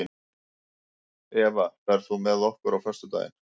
Eva, ferð þú með okkur á föstudaginn?